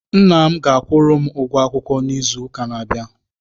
Nna m ga-akwụrụ m ụgwọ akwụkwọ m n'izu ụka na-abịa.